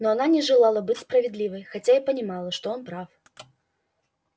но она не желала быть справедливой хотя и понимала что он прав